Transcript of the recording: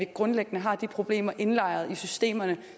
grundlæggende har de problemer indlejret i systemerne